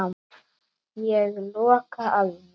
Ég loka að mér.